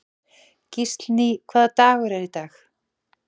Gíslný, hvaða dagur er í dag?